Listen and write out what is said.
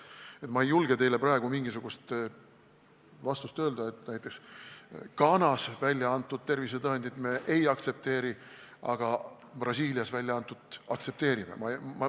Nii et ma ei julge teile praegu mingisugust vastust öelda, et näiteks Ghanas välja antud tervisetõendit me ei aktsepteeri, aga Brasiilias välja antut aktsepteerime.